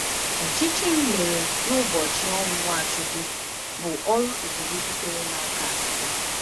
Ọchịchịrị mere n'ụbọchị ọnwụ Nwachukwu bụ ọrụ ebube sitere n'aka Chukwu.